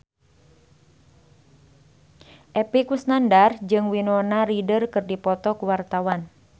Epy Kusnandar jeung Winona Ryder keur dipoto ku wartawan